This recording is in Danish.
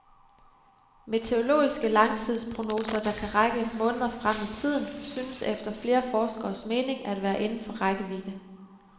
Meteorologiske langtidsprognoser, der kan række måneder frem i tiden, synes efter flere forskeres mening at være inden for rækkevidde.